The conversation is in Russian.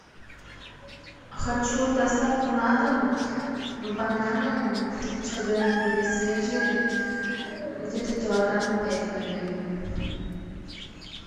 хочу доставку на дом бананы чтобы они были свежие где то килограмм пять наверное